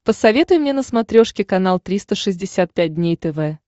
посоветуй мне на смотрешке канал триста шестьдесят пять дней тв